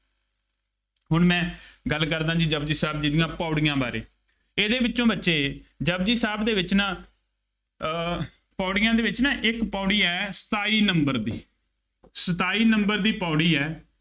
ਹੁਣ ਮੈਂ ਗੱਲ ਕਰਦਾ ਜੀ ਜਪੁਜੀ ਸਾਹਿਬ ਜੀ ਦੀਆਂ ਪੌੜੀਆਂ ਬਾਰੇ, ਇਹਦੇ ਵਿੱਚੋਂ ਬੱਚੇ ਜਪੁਜੀ ਸਾਹਿਬ ਦੇ ਵਿੱਚ ਨਾ ਅਹ ਪੌੜੀਆਂ ਦੇ ਵਿੱਚ ਨਾ ਇੱਕ ਪੌੜੀ ਹੈ, ਸਤਾਈ number ਦੀ, ਸਤਾਈ number ਦੀ ਪੌੜੀ ਹੈ।